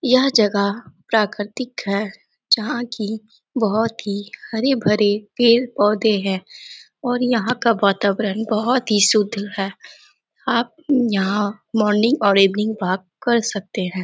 यह जगहा प्राकृतिक है जहाँ की बहुत ही हरे-भरे पेड़-पौधे है और यहा का वातावरण बहुत ही शुद्ध है आप यहाँ मॉर्निंग और इवनिंग वाक़ कर सकते है।